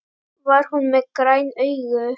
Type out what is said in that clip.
Var hún með græn augu?